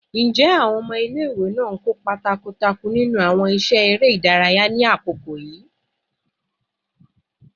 Njẹ awọn ọmọ ile-iwe naa n kopa takuntakun ninu awọn iṣẹ ere idaraya ni akoko yii?